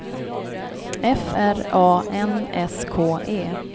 F R A N S K E